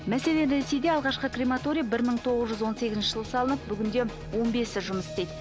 мәселен ресейде алғашқы крематорий бір мың тоғыз жүз он сегізінші жылы салынып бүгінде он бесі жұмыс істейді